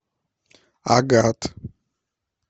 агат